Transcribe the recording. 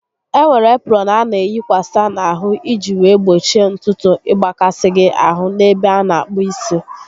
Enwere eprọn a na eyikwasa n'ahụ iji wee gbochie ntutu ịgbakasị gị ahụ n'ebe a na akpụ isi